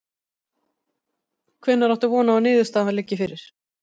Hvenær átt þú von á að niðurstaða liggi fyrir?